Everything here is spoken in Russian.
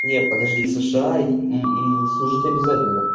не подожди сша служить обязательно